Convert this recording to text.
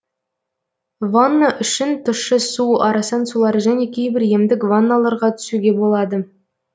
ванна үшін тұщы су арасан сулар және кейбір емдік ванналарға түсуге болады